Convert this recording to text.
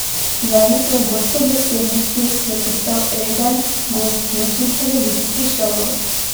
Zaradi svoje gostobesednosti je postal reden gost nočnih televizijskih šovov.